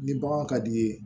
Ni bagan ka d'i ye